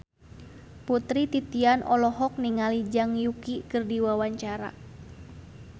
Putri Titian olohok ningali Zhang Yuqi keur diwawancara